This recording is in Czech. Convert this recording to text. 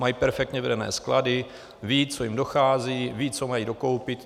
Mají perfektně vedené sklady, vědí, co jim dochází, vědí, co mají dokoupit.